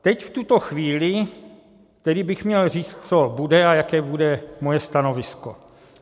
Teď v tuto chvíli bych tedy měl říct, co bude a jaké bude moje stanovisko.